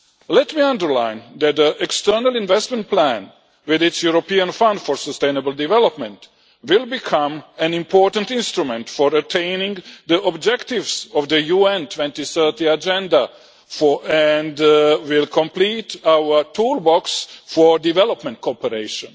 Let me underline that the External Investment Plan with its European Fund for Sustainable Development will become an important instrument for attaining the objectives of the UN 2030 Agenda and will complete our toolbox for development cooperation.